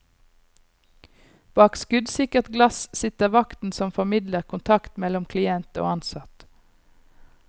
Bak skuddsikkert glass sitter vakten som formidler kontakt mellom klient og ansatt.